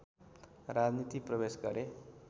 राजनीति प्रवेश गरे